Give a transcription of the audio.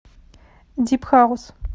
дип хаус